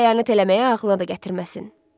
Xəyanət eləməyi ağlına da gətirməsin.